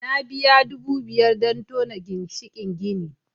Na biya Naira dubu biyar don tona ginshikin gini